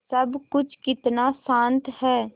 सब कुछ कितना शान्त है